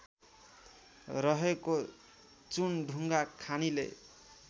रहेको चुनढुङ्गा खानीले